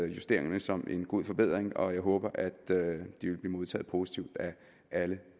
justeringerne som en god forbedring og jeg håber at de vil blive modtaget positivt af alle